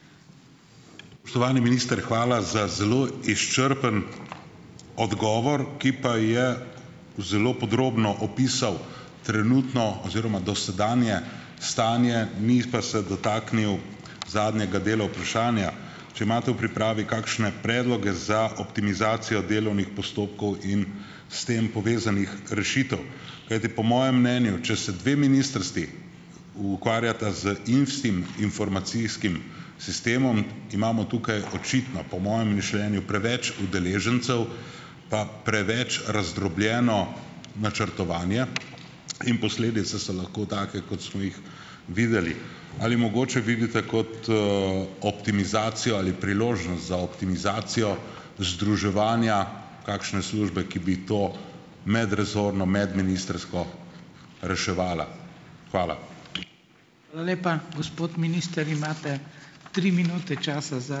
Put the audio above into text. Spoštovani minister, hvala za zelo izčrpen odgovor, ki pa je zelo podrobno opisal trenutno oziroma dosedanje stanje, ni pa se dotaknil zadnjega dela vprašanja. Če imate v pripravi kakšne predloge za optimizacijo delovnih postopkov in s tem povezanih rešitev? Kajti po mojem mnenju, če se dve ministrstvi ukvarjata z informacijskim sistemom, imamo tukaj očitno, po mojem mišljenju, preveč udeležencev pa preveč razdrobljeno načrtovanje in posledice so lahko take, kot smo jih videli. Ali mogoče vidite kot optimizacijo ali priložnost za optimizacijo združevanja kakšne službe, ki bi to medresorno, medministrsko reševala? Hvala.